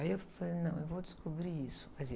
Aí eu falei, não, eu vou descobrir isso.